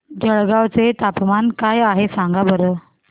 जळगाव चे तापमान काय आहे सांगा बरं